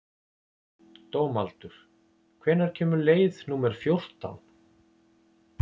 Dómaldur, hvenær kemur leið númer fjórtán?